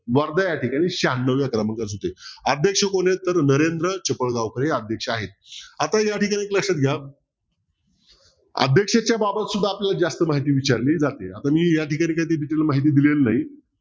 वर्धा या ठिकाणी शहान्नव्या क्रमांकाचं होत अध्यक्ष कोण आहे तर नरेंद्र चिपळगावकर हे अध्यक्ष आहेत आता या ठिकाणी लक्षात घ्या अध्यक्षेच्या बाबत आपल्याला माहिती विचारली जाते आता मी या ठिकाणी काही detail माहिती दिलेली नाही